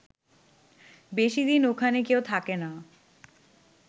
বেশি দিন ওখানে কেউ থাকে না